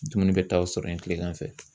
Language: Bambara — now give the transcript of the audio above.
Dumuni bɛ taa o sɔrɔ yen kilegan fɛ.